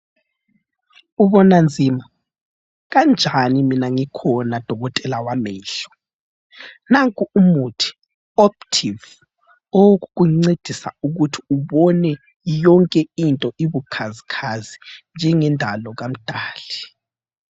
Ubona nzima, kanjani mina ngikhona dokotela wamehlo. Nanku umuthi Optive, owokukuncedisa ukuthi ubone yonke into ibukhazikhazi njengendalo kaMdali.